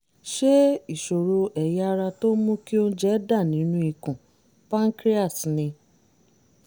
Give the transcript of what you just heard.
ṣé ìṣòro ẹ̀yà ara tó ń mú kí oúnje dà nínú ikùn (pancreas) ni?